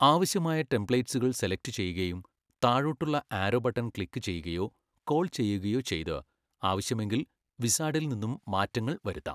ആവശ്യമായ ടെംപ്ലേറ്റ്സുകൾ സെലക്ട് ചെയ്യുകയും താഴോട്ടുളള ആരോ ബട്ടൺ ക്ലിക്ക് ചെയ്യുകയോ കോൾ ചെയ്യുകയോ ചെയ്ത് ആവശ്യമെങ്കിൽ വിസാർഡിൽ നിന്നും മാറ്റങ്ങൾ വരുത്താം.